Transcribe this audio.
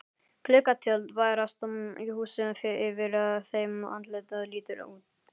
Gluggatjöld bærast í húsi yfir þeim, andlit lítur út.